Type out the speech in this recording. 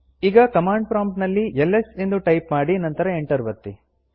ಈಗ command prompt ನಲ್ಲಿ ls ಎಂದು ಟೈಪ್ ಮಾಡಿ ನಂತರ ಎಂಟರ್ ಒತ್ತಿ